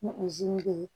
be yen